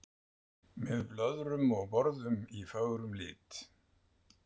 Með blöðrum og borðum í fögrum lit.